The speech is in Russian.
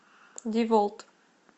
деволт